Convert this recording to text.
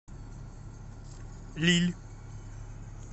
лилль